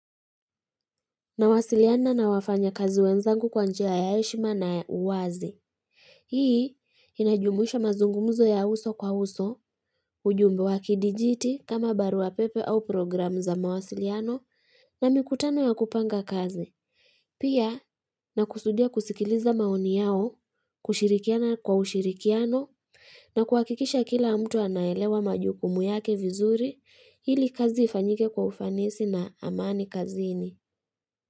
Na wasiliana na wafanya kazi wenzangu kwa njia yaheshma na ya uwazi. Hii inajumuisha mazungumuzo ya uso kwa uso, ujumbe wa kidijiti kama baruwa pepe au program za mawasiliano na mikutano ya kupanga kazi. Pia na kusudia kusikiliza maoni yao, kushirikiana kwa ushirikiano na kuwakikisha kila mtu anaelewa majukumu yake vizuri ili kazi ifanyike kwa ufanisi na amani kazini.